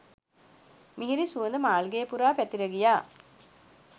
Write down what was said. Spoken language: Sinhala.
මිහිරි සුවඳ මාළිඟය පුරා පැතිර ගියා.